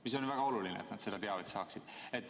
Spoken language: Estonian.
See on ju väga oluline, et nad seda teavet saaksid.